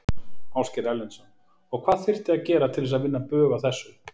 Ásgeir Erlendsson: Og hvað þyrfti að gera til þess að vinna bug á þessu?